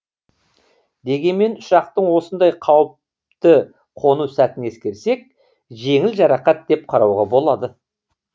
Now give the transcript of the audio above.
дегенмен ұшақтың осындай қауіпті қону сәтін ескерсек жеңіл жарақат деп қарауға болады